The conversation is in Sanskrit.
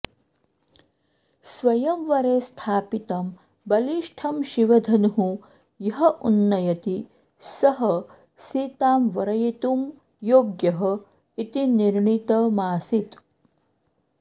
स्वयंवरे स्थापितं बलिष्ठं शिवधनुः यः उन्नयति सः सीतां वरयितुं योग्यः इति निर्णितमासीत्